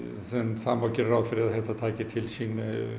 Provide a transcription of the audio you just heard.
það má gera ráð fyrir að þetta taki til sín